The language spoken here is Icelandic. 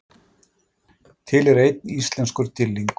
til er einn íslenskur dýrlingur